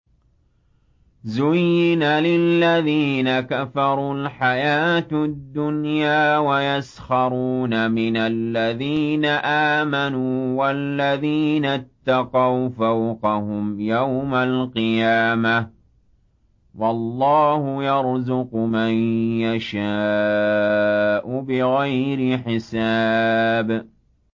زُيِّنَ لِلَّذِينَ كَفَرُوا الْحَيَاةُ الدُّنْيَا وَيَسْخَرُونَ مِنَ الَّذِينَ آمَنُوا ۘ وَالَّذِينَ اتَّقَوْا فَوْقَهُمْ يَوْمَ الْقِيَامَةِ ۗ وَاللَّهُ يَرْزُقُ مَن يَشَاءُ بِغَيْرِ حِسَابٍ